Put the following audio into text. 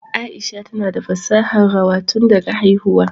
Aisha tana da fasahar rawa tun daga haihuwa